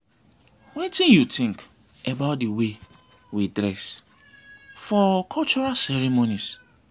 wetin you think about di way we dress for cultural ceremonies?